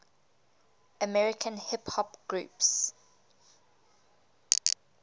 american hip hop groups